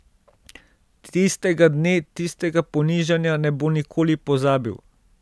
Tistega dne, tistega ponižanja, ne bo nikoli pozabil.